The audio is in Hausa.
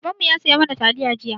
Babanmu ya saya mana taliya jiya.